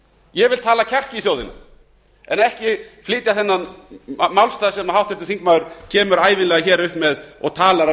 ég vil tala kjark í þjóðina en ekki flytja þennan málstað sem háttvirtur þingmaður kemur ævinlega hér upp með og talar af